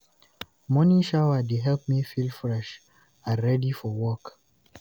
Morning shower dey help me feel fresh, and ready for work.